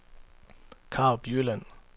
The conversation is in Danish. Karup Jylland